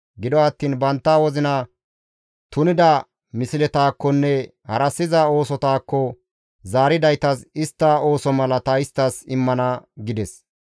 Gido attiin bantta wozina tunida misletakkonne harassiza oosotakko zaaridaytas istta ooso mala ta isttas immana» gides.